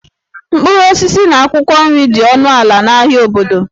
Mkpụrụ osisi na akwụkwọ nri dị ọnụ ala n'ahịa obodo